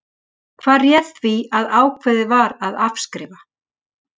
Hvað réði því að ákveðið var að afskrifa?